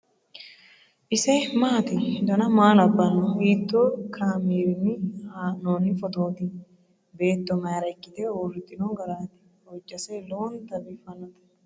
ise maati ? dana maa labbanno ? hiitoo kaameerinni haa'noonni footooti ? beetto mayra ikkite uurritino garaati ? hojjase lowonta biiffannote